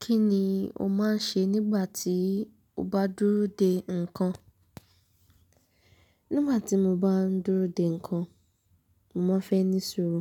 Kí ni o máa ń ṣe nígbà tí o bá dúró de nǹkan? Nígbà tí mo bá ń dúró de nǹkan, mo máa ń fẹ́ ní sùúrù.